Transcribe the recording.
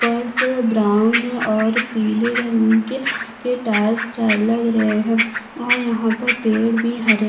फर्स ग्राउंड और पिले रंग के टाइल्स लग रहै हैऔर यहाँ पर पेड़ भी हरे.